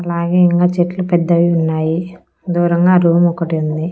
అలాగే ఇంగా చెట్లు పెద్దవి ఉన్నాయి. దూరంగా రూమ్ ఒకటి ఉంది.